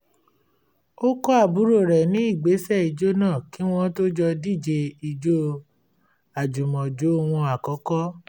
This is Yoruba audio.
ó kọ́ àbúrò rẹ̀ ní ìgbésẹ̀ ìjó náà kí wọ́n tó jọ díje ijó àjùmọ̀jó wọn akọ́kọ́